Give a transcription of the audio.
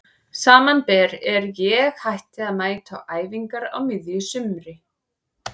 Samanber er ég hætti að mæta á æfingar á miðju sumri.